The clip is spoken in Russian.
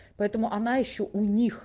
поэтому она ещё у них